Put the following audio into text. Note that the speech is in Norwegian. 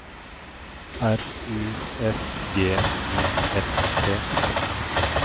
R U S G I F T